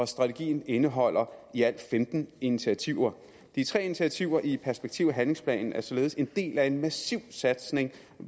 strategien indeholder i alt femten initiativer de tre initiativer i perspektiv og handlingsplanen er således en del af en massiv satsning